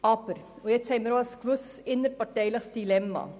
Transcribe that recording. Wir haben aber auch ein gewisses innerparteiliches Dilemma.